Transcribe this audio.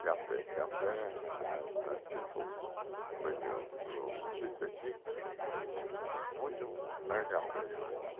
café, café a a aqui, no sítio aqui, muito eh café em volta.